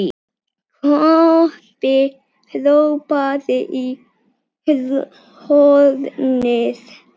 Kobbi hrópaði í hornið.